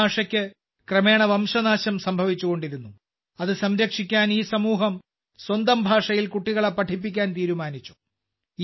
ഈ ഭാഷയ്ക്ക് ക്രമേണ വംശനാശം സംഭവിച്ചുകൊണ്ടിരുന്നു ഇത് സംരക്ഷിക്കാൻ ഈ സമൂഹം സ്വന്തം ഭാഷയിൽ കുട്ടികളെ പഠിപ്പിക്കാൻ തീരുമാനിച്ചു